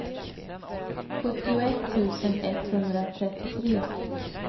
sjuttioett tusen etthundratrettiotre